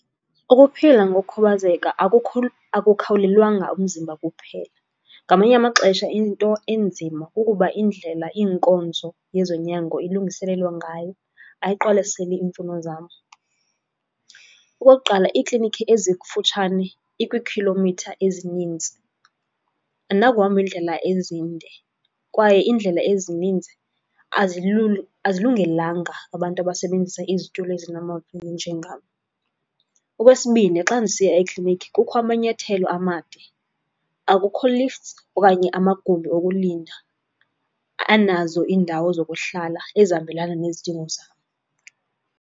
Ukuphila ngokukhubazeka ukukhawulelwanga umzimba kuphela. Ngamanye amaxesha into enzima kukuba iindlela iinkonzo yezonyango ilungiselelwa ngayo, ayiqwalaseli iimfuno zam. Okokuqala, iiklinikhi ezikufutshane ikwiikhilomitha ezininzi. Andinakuhamba iindlela ezinde kwaye iindlela ezininzi azilungelanga abantu abasebenzisa izitulo ezinamavili njengam. Okwesibini, xa ndisiya ekliniki kukho amanyathelo amade, akukho lifts okanye amagumbi okulinda anazo iindawo zokuhlala ezihambelana nezidingo zam.